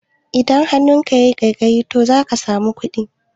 Idan hannunka yayi ƙaiƙayi to zaka samu kuɗi